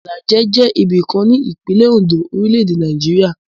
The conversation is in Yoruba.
Ìlàjẹ jẹ́ ibìkan ní ìpínlẹ̀ Oǹdó, orílẹ̀-èdè Nàìjíríà.